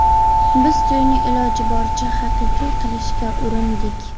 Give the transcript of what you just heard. Biz to‘yni iloji boricha haqiqiy qilishga urindik.